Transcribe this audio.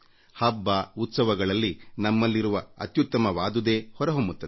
ಹಬ್ಬ ಉತ್ಸವಗಳಲ್ಲಿ ನಮ್ಮಲ್ಲಿರುವ ಉತ್ತಮವಾದ್ದು ಹೊರಹೊಮ್ಮುತ್ತದೆ